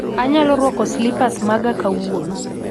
Anyalo rwako slipa maga kawuono